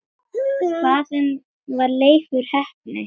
Hvaðan var Leifur heppni?